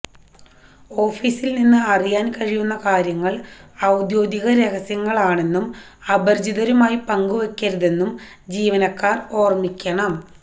ഓഫിസിൽനിന്ന് അറിയാൻ കഴിയുന്ന കാര്യങ്ങൾ ഔദ്യോഗിക രഹസ്യങ്ങളാണെന്നും അപരിചിതരുമായി പങ്കുവയ്ക്കരുതെന്നും ജീവനക്കാർ ഓർമ്മിക്കണം